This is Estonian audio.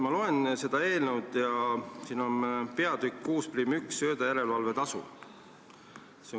Ma loen seda eelnõu ja siin on peatükk 61, söödajärelevalve tasu.